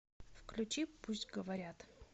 включи пусть говорят